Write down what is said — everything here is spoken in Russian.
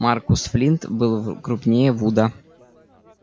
маркус флинт был крупнее вуда